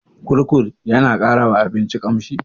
Kurkur yana ƙara wa abinci ƙamshi?